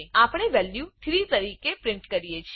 આપણે વેલ્યું 3 તરીકે પ્રિન્ટ કરીએ છે